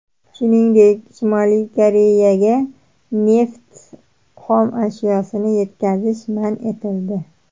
Shuningdek, Shimoliy Koreyaga neft xomashyosini yetkazish man etildi.